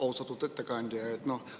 Austatud ettekandja!